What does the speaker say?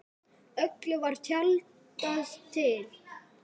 Öllu var tjaldað til.